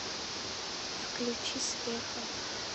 включи света